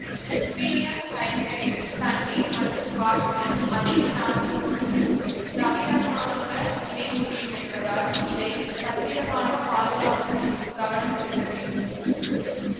rubidium hydride தண்ணீர் மற்றும் காற்றுடன் அதிக நாட்டம் கொண்டு தவிரமாக வினைபுரியும் என்பதால் இதை பத்திரமாக பாதுகாப்பதிலும் கவனம் செலுத்த வேண்டும்